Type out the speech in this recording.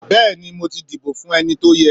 beeni mo ti dibo fun eni to ye.